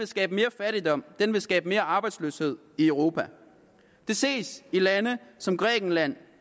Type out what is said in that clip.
skabe mere fattigdom og den vil skabe mere arbejdsløshed i europa det ses i lande som grækenland